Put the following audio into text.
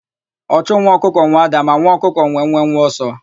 Ọchụ nwa ọkụkọ nwe ádá, ma nwa ọkụkọ nwe nwenwe ọsọ.